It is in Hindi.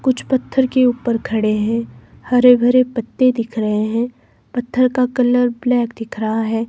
कुछ पत्थर के ऊपर खड़े हैं हरे भरे पत्ते दिख रहे हैं पत्थर का कलर ब्लैक दिख रहा है।